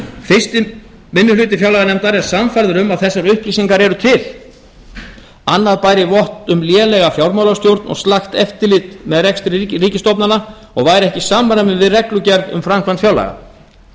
fyrsti minni hluti fjárlaganefndar er sannfærður um að þessar upplýsingar eru til annað bæri vott um lélega fjármálastjórn og slakt eftirlit með rekstri ríkisstofnana og væri ekki í samræmi við reglugerð um framkvæmd fjárlaga